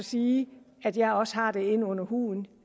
sige at jeg også har det inde under huden